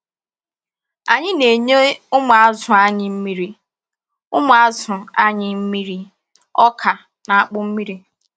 Anyị na-enye ụmụazụ anyị mmiri ụmụazụ anyị mmiri ọka na akpụ nri.